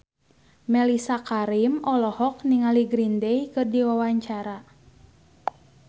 Mellisa Karim olohok ningali Green Day keur diwawancara